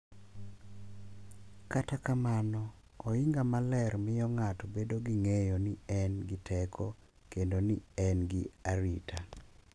Kata kamano, ohinga maler miyo ng’ato bedo gi ng’eyo ni en gi teko kendo ni en gi arita,